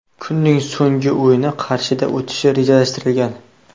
Kunning so‘nggi o‘yini Qarshida o‘tishi rejalashtirilgan.